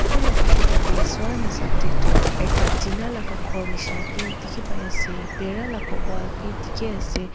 etu laga photo tey swa hesap tey Tu ekta tina laga ghor nishina bi dikhi pai ase bhera laga wall bi dikhi ase.